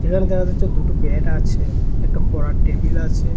এখানে দেখা যাচ্ছে দুটো ব্যাড আছে একটা পড়ার টেবিল আছে।